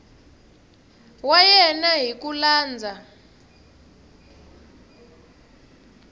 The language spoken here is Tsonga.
wa yena hi ku landza